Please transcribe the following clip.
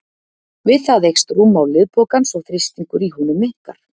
Við það eykst rúmmál liðpokans og þrýstingur í honum minnkar.